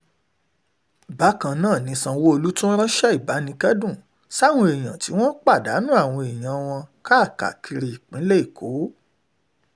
bákan náà ni sanwó-olu tún ránṣẹ́ ìbánikẹ́dùn sáwọn èèyàn tí wọ́n pàdánù àwọn èèyàn wọn káàkiri ìpínlẹ̀ èkó